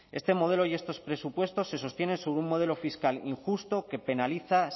este modelo y estos presupuestos se sostienen sobre un modelo fiscal injusto que penaliza